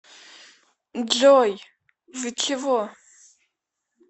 джой вы чего